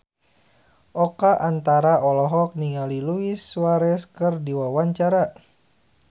Oka Antara olohok ningali Luis Suarez keur diwawancara